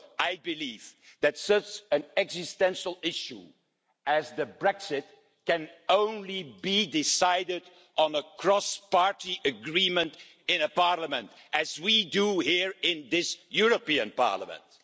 I believe that such an existential issue as Brexit can only be decided on with a cross-party agreement in parliament, as we do here in this European Parliament.